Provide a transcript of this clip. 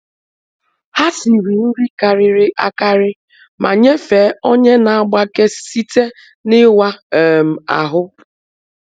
Ha siri nri karịrị akarị ma nyefee onye na-agbake site n’ịwa um ahụ.